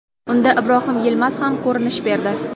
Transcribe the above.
Unda Ibrohim Yilmaz ham ko‘rinish berdi.